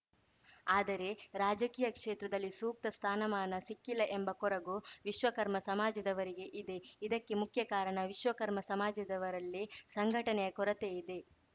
ಆದರೆ ರಾಜಕೀಯ ಕ್ಷೇತ್ರದಲ್ಲಿ ಸೂಕ್ತ ಸ್ಥಾನಮಾನ ಸಿಕ್ಕಿಲ್ಲ ಎಂಬ ಕೊರಗು ವಿಶ್ವಕರ್ಮ ಸಮಾಜದವರಿಗೆ ಇದೆ ಇದಕ್ಕೆ ಮುಖ್ಯ ಕಾರಣ ವಿಶ್ವಕರ್ಮ ಸಮಾಜದವರಲ್ಲಿ ಸಂಘಟನೆಯ ಕೊರತೆ ಇದೆ